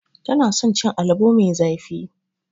Tana son cin alabo mai zafi.